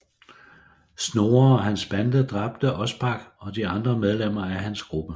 Snorre og hans bande dræbte Ospak og de andre medlemmer af hans gruppe